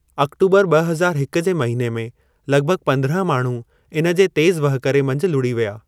अक्टूबर ॿ हज़ारु हिकु जे महिने में लॻभॻ पंद्राहं माण्हू इन्हे जे तेज़ वाहकुरे मंझि लुड़ी विया।